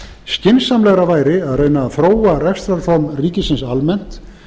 skynsamlegra væri að reyna að þróa rekstrarform ríkisins almennt